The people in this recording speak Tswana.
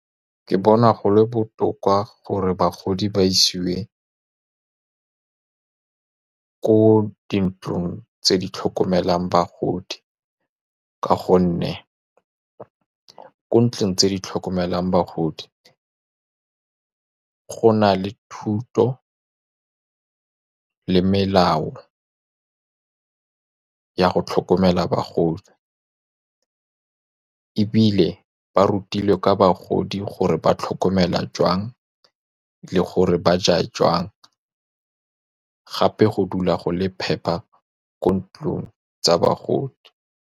Ke bona go le botoka gore bagodi ba isiwe ko dintlong tse di tlhokomelang bagodi, ka gonne ko ntlong tse di tlhokomelang bagodi go na le thuto le melao ya go tlhokomela bagodi, ebile ba rutilwe ka bagodi gore ba tlhokomelwa joang le gore ba ja joang, gape go dula go le phepa ko dintlong tsa bagodi.